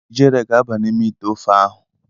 Ijere ga-aba n'ime ite ofe ahụ.